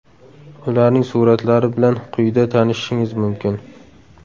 Ularning suratlari bilan quyida tanishishingiz mumkin.